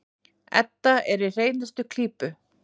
Edda er í hreinustu klípu.